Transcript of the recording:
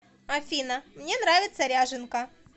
афина мне нравится ряженка